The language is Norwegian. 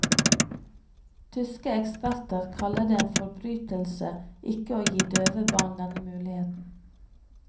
Tyske eksperter kaller det en forbrytelse ikke å gi døve barn denne muligheten.